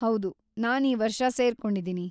ಹೌದು, ನಾನ್‌ ಈ ವರ್ಷ ಸೇರ್ಕೊಂಡಿದಿನಿ.